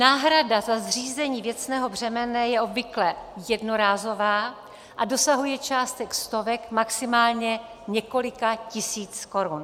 Náhrada za zřízení věcného břemena je obvykle jednorázová a dosahuje částek stovek, maximálně několika tisíců korun.